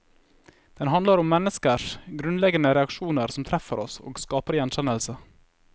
Den handler om menneskers grunnleggende reaksjoner som treffer oss og skaper gjenkjennelse.